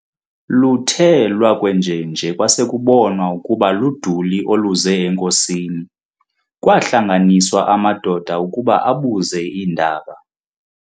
Luthe lwakwenjenje kwasekubonwa ukuba luduli oluze enkosini, kwaahlanganiswa amadoda ukuba abuze iindaba.